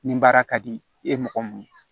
Nin baara ka di e ye mɔgɔ mun ye